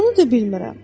Bunu da bilmirəm.